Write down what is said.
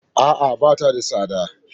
A'a, bata da tsada.